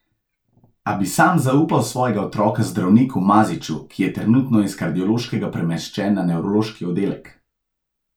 A bi sam zaupal svojega otroka zdravniku Maziću, ki je trenutno iz kardiološkega premeščen na nevrološki oddelek.